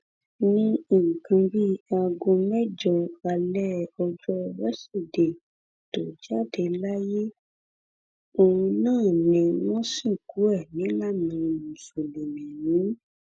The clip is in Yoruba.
ní nǹkan bíi aago mẹjọ alẹ ọjọ wíṣídẹẹ tó jáde láyé ohun náà ni wọn sìnkú ẹ nílànà mùsùlùmí